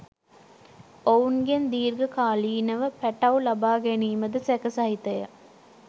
ඔවුන්ගෙන් දිර්ඝ කාලීනව පැටව් ලබා ගැනීමද සැක සහිතය